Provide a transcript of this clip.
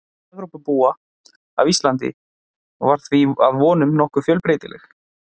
Mynd Evrópubúa af Íslandi var því að vonum nokkuð fjölbreytileg.